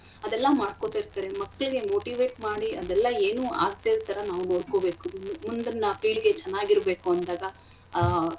ಅದೆಲ್ಲಾ ಮಾಡ್ಕೊತಿರ್ತರೆ ಮಕ್ಳಿಗೆ motivate ಮಾಡಿ ಅದೆಲ್ಲ ಏನೂ ಆಗ್ಡೇಯಿರಥರ ನಾವು ನೋಡ್ಕೊಬೇಕು ಮುಂದಿನ ಪೀಳಿಗೆ ಚೆನ್ನಾಗ್ ಇರ್ಬೇಕು ಅಂದಾಗ ಆಹ್.